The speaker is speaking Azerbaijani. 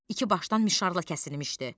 İki başdan mişarla kəsilmişdi.